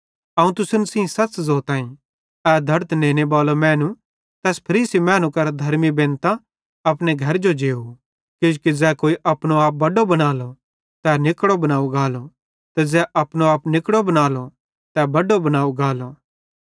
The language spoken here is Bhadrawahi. अवं तुसन सेइं सच़ ज़ोताईं ए धड़न नेनेबाले मैनू तैस फरीसी मैनू करां धर्मी निस्तां अपने घरजो जेव किजोकि ज़ै कोई अपनो आप बड्डो बनालो तै निकड़ो बनाव गालो ते ज़ै अपनो आप निकड़ो बनालो तै बड्डो बनाव गालो